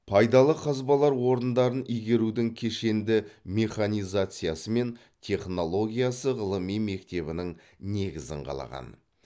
пайдалы қазбалар орындарын игерудің кешенді механизациясы мен технологиясы ғылыми мектебінің негізін қалаған